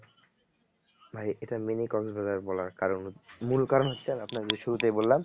ভাই এটা mini কক্স বাজার বলার কারণ মূল কারণ হচ্ছে আপনার শুরুতেই বললাম